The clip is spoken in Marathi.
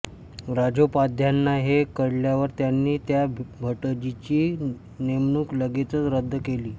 राजोपाध्यांना हे कळल्यावर त्यांनी त्या भटजीची नेमणूक लगेचच रद्द केली